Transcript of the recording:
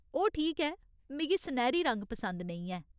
ओह् ठीक ऐ , मिगी सनैह्‌री रंग पसंद नेईं ऐ।